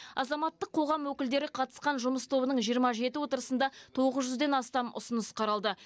азаматтық қоғам өкілдері қатысқан жұмыс тобының жиырма жеті отырысында тоғыз жүзден астам ұсыныс қаралды